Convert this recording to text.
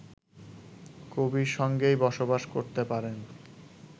কবির সঙ্গেই বসবাস করতে পারেন